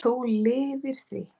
Þú lifðir því.